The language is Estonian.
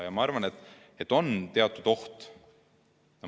Ja ma arvan, et on teatud oht.